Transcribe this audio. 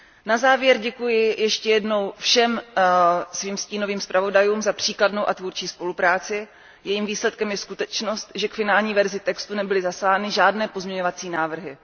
Na závěr děkuji ještě jednou všem svým stínovým zpravodajům za příkladnou a tvůrčí spolupráci, jejímž výsledkem je skutečnost, že k finální verzi textu nebyly zaslány žádné pozměňovací návrhy.